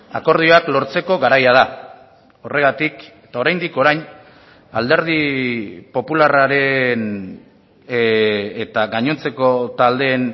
akordioak lortzeko garaia da horregatik eta oraindik orain alderdi popularraren eta gainontzeko taldeen